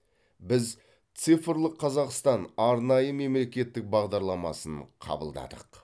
біз цифрлық қазақстан арнайы мемлекеттік бағдарламасын қабылдадық